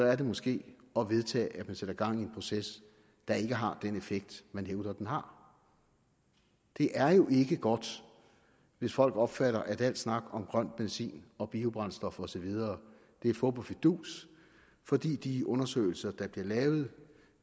er det måske at vedtage at man sætter gang i en proces der ikke har den effekt man hævder den har det er jo ikke godt hvis folk opfatter at al snak om grøn benzin og biobrændstof og så videre er fup og fidus fordi de undersøgelser der bliver lavet